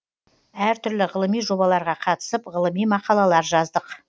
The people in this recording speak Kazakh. әр түрлі ғылыми жобаларға қатысып ғылыми мақалалар жаздық